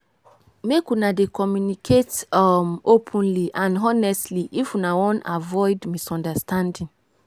i dey make sure sey i dey reliable my friends fit count on me.